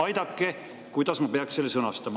Aidake, kuidas ma peaksin selle sõnastama.